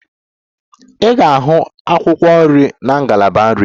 Ị ga-ahụ akwụkwọ nri na ngalaba nri.